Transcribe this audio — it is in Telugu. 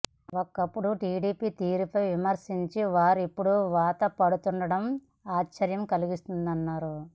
ఒకప్పుడు టీడీపీ తీరుపై విమర్శించిన వారే ఇప్పుడు వంతపాడుతుండడం ఆశ్చర్యం కలిగిస్తోందన్నారు